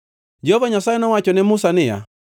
Jehova Nyasaye nowacho ne Musa niya,